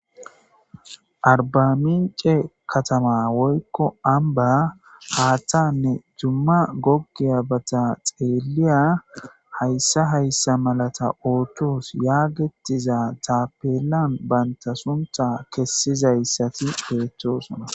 arbamince katama woykko amba haattanne dumma goggiya bata xeeliya hayssa hayssa malata oottos yaagetiza taapelan banta sunta kessizayssati beettosona